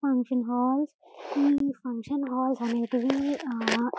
function halls ఈ function halls అనేటివి--